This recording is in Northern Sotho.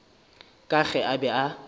ka ge a be a